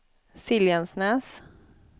Siljansnäs